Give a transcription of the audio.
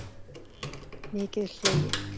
Mikið hlegið.